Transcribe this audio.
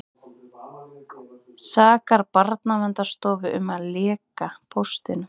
Sakar Barnaverndarstofu um að leka póstunum